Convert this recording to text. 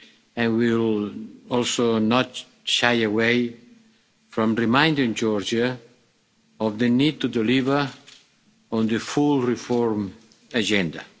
and will also not shy away from reminding Georgia of the need to deliver on the full reform agenda.